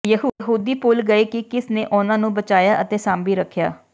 ਯਹੂਦੀ ਭੁੱਲ ਗਏ ਕਿ ਕਿਸ ਨੇ ਉਨ੍ਹਾਂ ਨੂੰ ਬਚਾਇਆ ਅਤੇ ਸਾਂਭੀ ਰੱਖਿਆ